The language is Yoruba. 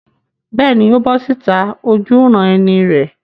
Bẹ́ẹ̀ni, ó bọ́ síta ojúuran-ẹni rẹ̀.